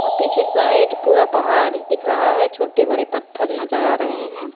और पीछे साइड पूरा पहाड़ दिख रहा है छोटे बड़े पत्थर नजर आ रहे हैं।